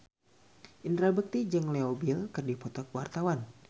Indra Bekti jeung Leo Bill keur dipoto ku wartawan